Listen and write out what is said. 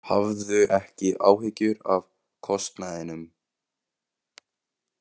Hafðu ekki áhyggjur af kostnaðinum.